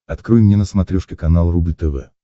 открой мне на смотрешке канал рубль тв